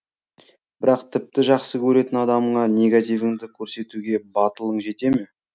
бірақ тіпті жақсы көретін адамыңа негативіңді көрсетуге батылың жете ме